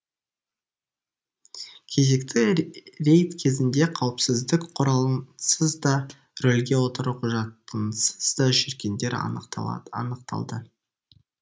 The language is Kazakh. кезекті рейд кезінде қауіпсіздік құралынсыз да рөлге отыру құжатынсыз да жүргендер анықталды